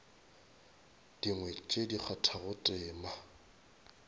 dingwe tše di kgathago tema